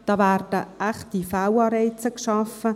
Da werden echte Fehlanreize geschaffen.